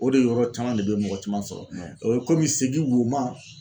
O de yɔrɔ caman de bɛ mɔgɔ caman sɔrɔ o ye komi segi woma.